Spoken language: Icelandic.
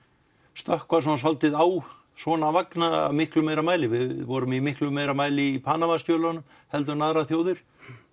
stökkva svolítið á svona vagna af miklu meira mæli við vorum af miklu meira mæli í Panamskjölunum heldur en aðrar þjóðir